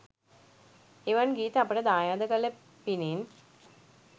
එවන් ගීත අපට දායාද කල පිණින්